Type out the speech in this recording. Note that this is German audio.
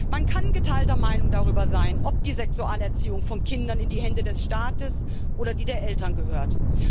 Man kann geteilter Meinung darüber sein, ob die Sexualerziehung von Kindern in die Hände des Staates oder die der Eltern gehört.